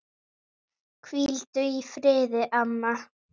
Hvíldu í friði, amma.